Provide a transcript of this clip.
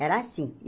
Era assim.